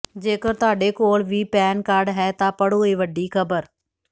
ਜੇਕਰ ਤੁਹਾਡੇ ਕੋਲ ਵੀ ਹੈ ਪੈਨ ਕਾਰਡ ਤਾਂ ਪੜ੍ਹੋ ਇਹ ਵੱਡੀ ਖ਼ਬਰ